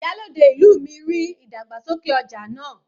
Ìyálòde ìlú mi ríi ìdàgbàsókè ọja náà.